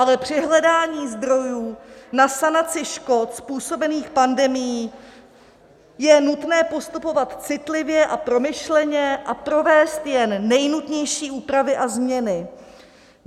Ale při hledání zdrojů na sanaci škod způsobených pandemií je nutné postupovat citlivě a promyšleně a provést jen nejnutnější úpravy a změny.